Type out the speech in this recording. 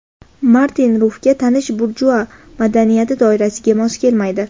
Martin Rufga tanish burjua madaniyati doirasiga mos kelmaydi.